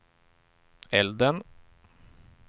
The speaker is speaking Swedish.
elden